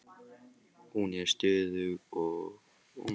Hún er stöðug og versnar ekki með tímanum.